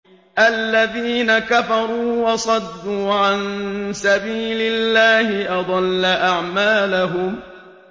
الَّذِينَ كَفَرُوا وَصَدُّوا عَن سَبِيلِ اللَّهِ أَضَلَّ أَعْمَالَهُمْ